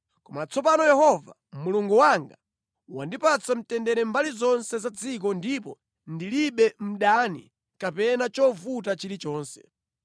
Koma tsopano Yehova Mulungu wanga wandipatsa mtendere mbali zonse za dziko ndipo ndilibe mdani kapena chovuta chilichonse.